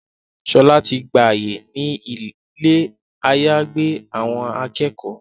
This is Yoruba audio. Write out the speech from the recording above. Shola tí gbà àyè ní Ilé àyágbé àwọn akẹ́kọ̀ọ́.